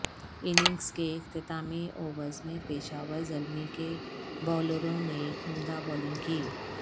innings کے اختتامی overs میں پشاور زلمی کے بولروں نے عمدہ بولنگ کی